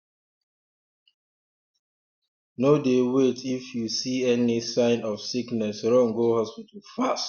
no dey waitif you see any see any sign of sickness run go hospital fast